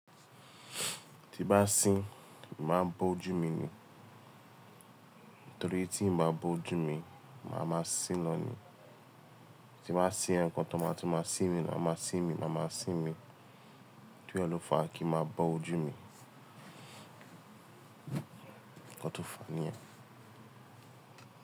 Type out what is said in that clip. Ti bá sí, máa ń bọ́ ojú mi ni. Nítorí tí ǹ bá bọ́ ojú mi, màá máa sí lọ́ ni. Ti máa sí ǹ kan tó máa tó máa sí mi ni, máa sí mi, màá máa sí mi. Torí lo fa kí n máa bọ́ ojú mi. Ǹkan tó fà ní ẹ̀.